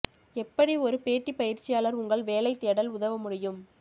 எப்படி ஒரு பேட்டி பயிற்சியாளர் உங்கள் வேலை தேடல் உதவ முடியும்